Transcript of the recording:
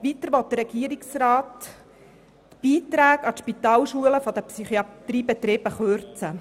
Weiter will der Regierungsrat die Beiträge an die Spitalschulen der Psychiatriebetriebe kürzen.